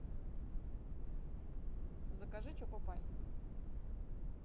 закажи чоко пай